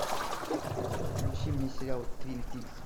включи мне сериал твин пикс